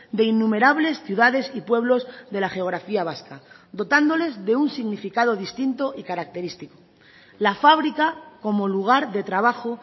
de innumerables ciudades y pueblos de la geografía vasca dotándoles de un significado distinto y característico la fábrica como lugar de trabajo